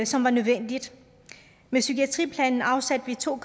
som var nødvendig med psykiatriplanen afsatte vi to